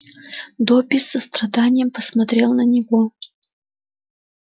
добби с состраданием посмотрел на него